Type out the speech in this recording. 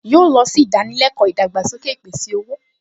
Yóò lọ sí ìdánilẹ́kọ̀ọ́ ìdàgbàsókè ìpèsè-owó